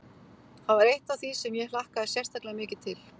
Það var eitt af því sem ég hlakkaði sérstaklega mikið til.